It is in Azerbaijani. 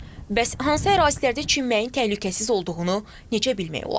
Bəs hansı ərazilərdə çimməyin təhlükəsiz olduğunu necə bilmək olar?